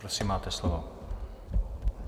Prosím, máte slovo.